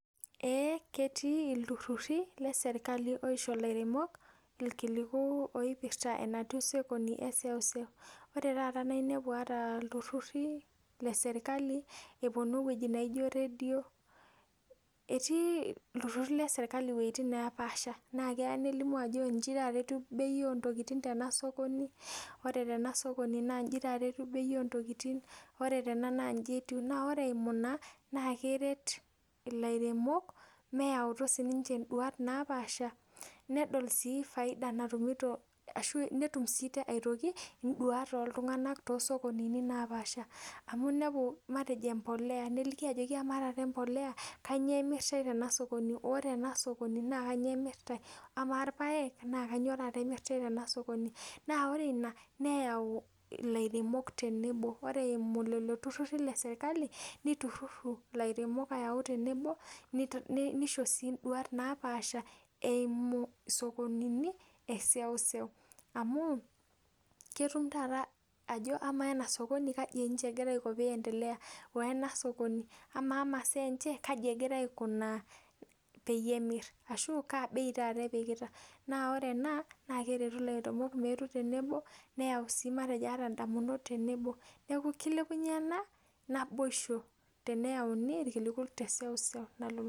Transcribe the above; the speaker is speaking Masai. Eee ketii ilturrurri le serikali oisho ilairemok irkiliku oipirta enatiu sokoni e seuseu. Ore taata naa inepu ilturrurri le serikali epwonu ewueji naijo radio. Etii ilturrurri le serikali iwuejitin neepaasha naa keya nelimu ajo inji taata etiu bei oo ntokiting tena sokoni, ore tena sokoni naa inji taata etiu bei oo ntokiting. Ore tena naa inji etiu. Naa ore eimu ina, naa keret ilairemok meyautu siininche nduat naapaasha nedol sii faida natumito ashu netum sii aitoki induat ooltung'anak toosokonini naapaasha. Amu inepu matejo embole, neliki ajoki kamaa taata embole, kanyoo emiritae tena sokoni. Ore ena sokoni naa kanyoo emirtae. Kamaa irpaek naa kanyoo taata emirtae tena sokoni. Naa ore ina neyau ilairemok tenebo. Ore eimu lelo turrurri le serikali niturrurru ilairemok ayau tenebo nisho sii induat naapaasha eumu isokonini e seuseu. Amu ketum taata ajo, kamaa ena sokoni kaji egira aiko peindelea, woo ena sokoni. Kamaa imasaa enche, kaji egira aikunaa peyie emirr, kaa bei taata epikita. Naa ore ena naa keretu ilairemok meetu tenebo neyau sii matejo ata indamunot tenebo. Neeku kilepunye ena naboishu teneyauni irkiliku te seuseu nalulung'a